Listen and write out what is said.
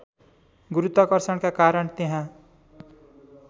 गुरुत्वाकर्षणका कारण त्यहाँ